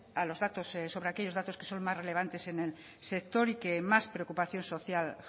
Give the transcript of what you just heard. sobre aquellos datos que son más relevantes en el sector y que más preocupación social